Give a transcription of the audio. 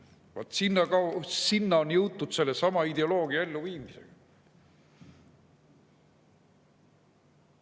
Vaat sinna on jõutud sellesama ideoloogia elluviimisega.